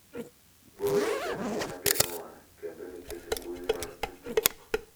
Bor ok en gima geng’owa kendo nikech mbui mag tudruok.